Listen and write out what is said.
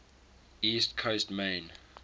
east coast maine